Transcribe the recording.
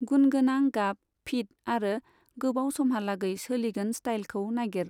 गुणगोनां, गाब, फिट आरो गोबाव समहालागै सोलिगोन स्टाइलखौ नागिर।